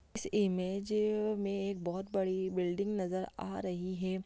इस इमेज में एक बहुत बड़ी बिल्डिंग नज़र आ रही है।